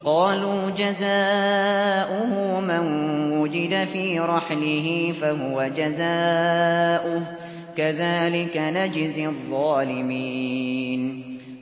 قَالُوا جَزَاؤُهُ مَن وُجِدَ فِي رَحْلِهِ فَهُوَ جَزَاؤُهُ ۚ كَذَٰلِكَ نَجْزِي الظَّالِمِينَ